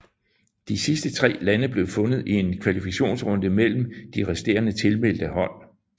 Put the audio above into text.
De sidste tre lande blev fundet i en kvalifikationsrunde mellem de resterende tilmeldte hold